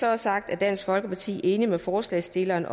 er sagt er dansk folkeparti enige med forslagsstillerne